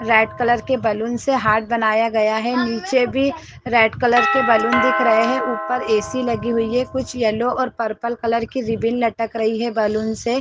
red colour के balloon से heart बनाया गया है नीचे भी रेड कलर के बैलून दिख रहे है ऊपर ए_सी लगी हुई है कुछ येलो और पर्पल कलर की रिबन लटक रही है बैलून से --